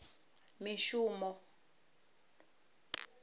mishumo